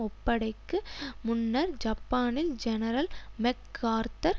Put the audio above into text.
ஒப்படைக்கு முன்னர் ஜப்பானில் general MacArthur